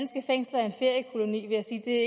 det